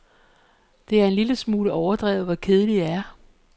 Det er en lille smule overdrevet, hvor kedelig jeg er.